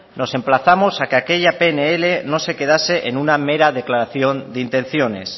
nos emplazamos a que aquella pnl no se quedase en una mera declaración de intenciones